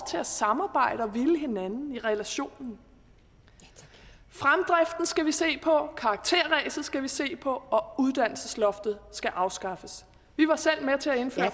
til at samarbejde og ville hinanden i relationen fremdriften skal vi se på karakterræset skal vi se på og uddannelsesloftet skal afskaffes vi var selv med til at indføre